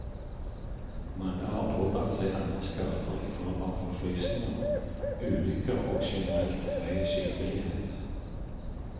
Mange har pådratt seg andre skader i form av forfrysninger, ulykker og generelt høy sykelighet.